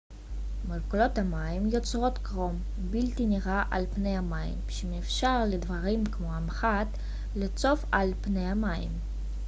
מולקולות המים יוצרות קרום בלתי נראה על פני המים שמאפשר לדברים כמו המחט לצוף על פני המים